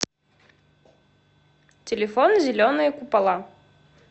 телефон зеленые купола